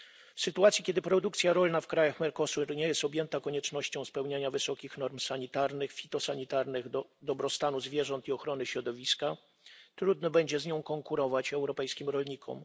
W sytuacji kiedy produkcja rolna w krajach Mercosuru nie jest objęta koniecznością spełniania wysokich norm sanitarnych, fitosanitarnych, dobrostanu zwierząt i ochrony środowiska, trudno będzie z nią konkurować europejskim rolnikom.